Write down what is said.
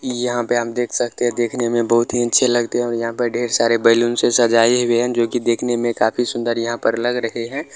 यहाँ पे हम देख सकते है देखनें में बहोत ही अच्छे लगते है और यहाँ पे ढ़ेर सारे बैलून से सजाये हुए हैं जो की देखने में काफी सुन्दर यहाँ पर लग रहे है।